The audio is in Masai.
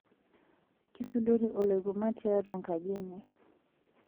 kisudori oloikuma tiatua ekaji enye